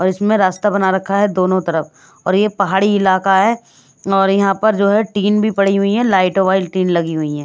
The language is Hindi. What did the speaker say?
और इसमें रास्ता बना रखा है दोनों तरफ और ये पहाड़ी इलाका है और यहाँ पर जो है टीन भी पड़ी हुई है लाइटो वाइल टीन लगी हुई है।